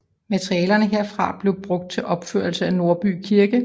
Materialerne herfra blev brugt til opførelse af Nordby Kirke